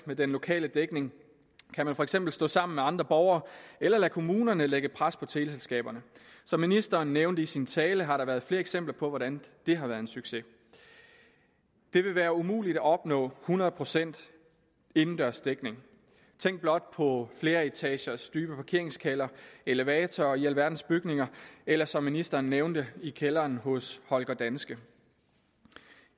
med den lokale dækning kan man for eksempel stå sammen med andre borgere eller lade kommunerne lægge pres på teleselskaberne som ministeren nævnte i sin tale har der været flere eksempler på hvordan det har været en succes det vil være umuligt at opnå hundrede procent indendørs dækning tænk blot på flereetagers dybe parkeringskældre elevatorer i alverdens bygninger eller som ministeren nævnte i kælderen hos holger danske